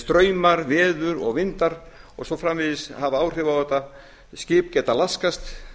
straumar veður og vindar og svo framvegis hafa áhrif á þetta skip geta laskast